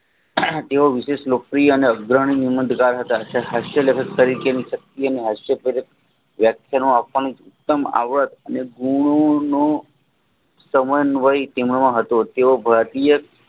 તેઓ વિશેષ લોકપ્રિય અને વ્યાખ્યાનો અપંગ આવડત અને એઓ ભારતીય